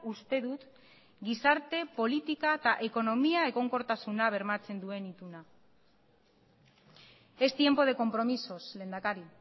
uste dut gizarte politika eta ekonomia egonkortasuna bermatzen duen ituna es tiempo de compromisos lehendakari